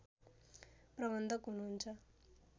प्रबन्धक हुनुहुन्छ